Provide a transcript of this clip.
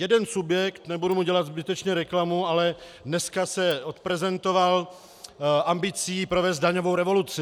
Jeden subjekt, nebudu mu dělat zbytečně reklamu, ale dneska se odprezentoval ambicí provést daňovou revoluci.